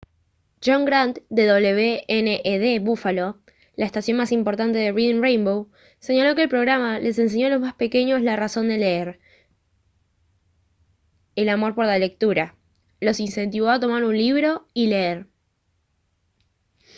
john grant de wned buffalo la estación más importante de reading rainbow señaló que el programa «les enseñó a los más pequeños la razón de leer [] el amor por la lectura; los incentivó a tomar un libro y leer»